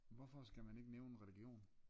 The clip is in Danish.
Hvorfor skal man ikke nævne religion?